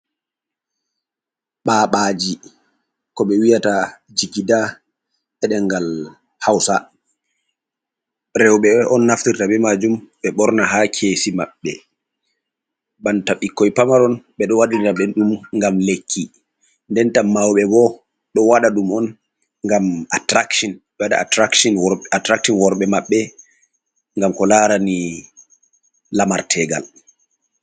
Babaji ko ɓe wiyata jigida edengal hausa. rewɓe on naftirta be majum ɓe ɓorna ha kesi maɓɓe, banta ɓikkoi pamaron ɓeɗo waɗira ɓe ɗum ngam lekki, nden ta mauɓe bo ɗo waɗa ɗum on ngam atrakshon bewaɗa attraktin ɓe waɗata attraktin worɓe maɓɓe ngam ko larani lamartegal.